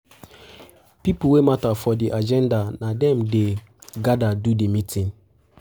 Pipo wey matter for um di agenda na dem na dem um de gather do di meeting um